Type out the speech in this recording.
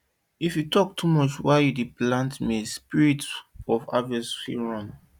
if you talk too much while you dey plant maize spirit of harvest fit run